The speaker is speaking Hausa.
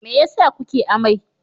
Me yasa kuke amai?